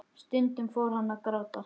Stundum fór hún að gráta.